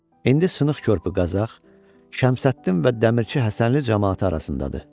İndi Sınıq körpü Qazax, Şəmsəddin və Dəmirçi Həsənli camaatı arasındadır.